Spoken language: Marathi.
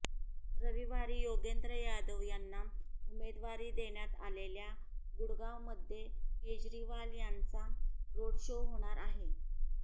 रविवारी योगेंद्र यादव यांना उमेदवारी देण्यात आलेल्या गुडगावमध्ये केजरीवाल यांचा रोड शो होणार आहे